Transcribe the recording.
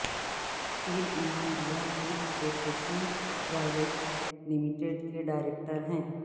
پیر Imam Dua food processing private limited کے director ہیں